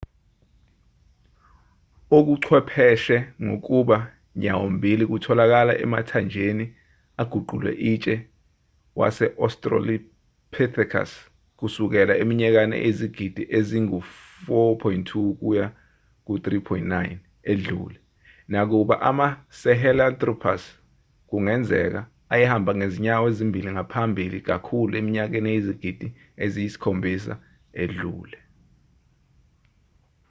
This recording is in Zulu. okuchwepheshe ngokuba nyawo-mbili kutholakala emathanjeni aguquke itshe we-australopithecus kusukela eminyakeni eyizigidi ezingu-4.2-3.9 edlule nakuba ama-sahelanthropus kungenzeka ayehamba ngezinyawo ezimbili ngaphambili kakhulu eminyakeni eyizigidi eziyisikhombisa edlule